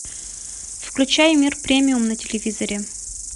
включай мир премиум на телевизоре